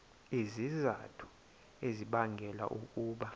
izizathu ezibangela ukuba